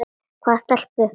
Hvaða stelpu?